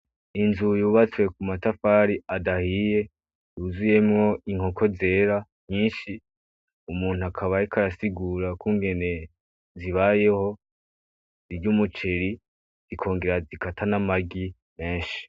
Inzu yubatswe ku matafari adahiye yuzuyemwo inkoko zera nyinshi umuntu akabayeka arasigura kungene zibayeho ry'umuceri ikongera zikata n'amaryi menshi.